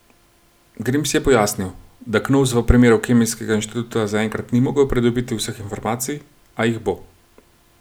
Grims je pojasnil, da Knovs v primeru Kemijskega inštituta zaenkrat ni mogel pridobiti vseh informacij, a jih bo.